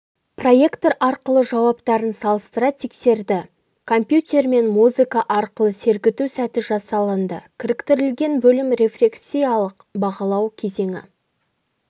проектор арқылы жауаптарын салыстыра тексерді компьютермен музыка арқылы сергіту сәті жасалынды кіріктірілген бөлім рефлексиялық бағалау кезең